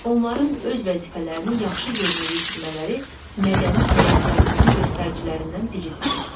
Onların öz vəzifələrini yaxşı yerinə yetirmələri mədəni həyat tərzinin göstəricilərindən biridir.